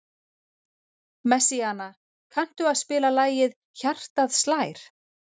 Messíana, kanntu að spila lagið „Hjartað slær“?